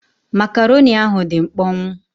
Makaroni ahụ dị mkpọnwụ.